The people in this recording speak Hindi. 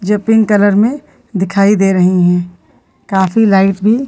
जो पिंक कलर में दिखाई दे रही हैं काफी लाइट्स भी दिखाई दे --